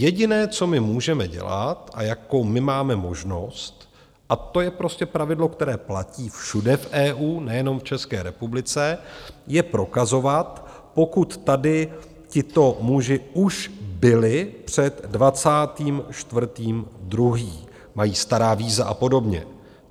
Jediné, co my můžeme dělat a jakou my máme možnost, a to je prostě pravidlo, které platí všude v EU, nejenom v České republice, je prokazovat, pokud tady tito muži už byli před 24. 2., mají stará víza a podobně.